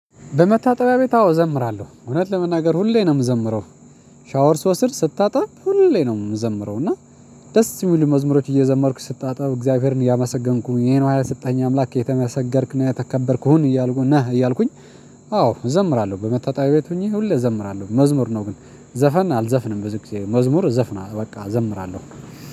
በመታጠቢያ ቤት አዎ እዘምራለሁ። እውነት ለመናገር ሁሌ ነው የምዘምረው። ሻወር ስወስድ ስታጠብ ሁሌ ነው የምዘምረው። እና ደስ የሚሉ መዝሙሮች እየዘመርኩት ስታጠብ እግዚአብሔርን እያመሰገንኩ። ይሄን የሰጠኝ አምላክ የተመሰገንክ ነህ የተከበርክ ሁን እያልኩ ነህ እያልኩኝ አዎ እዘምራለሁ። በመታጠቢያ ቤት ሁኜ ሁሌ እዘምራለሁ። መዝሙር ነው ግን ዘፈን አልዘፍንም ብዙ ጊዜ መዝሙር እዘፍናል በቃ እዘምራለሁ።